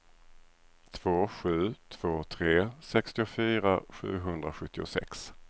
två sju två tre sextiofyra sjuhundrasjuttiosex